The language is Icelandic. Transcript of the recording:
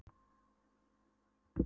Hún hefði áreiðanlega látið mig vita.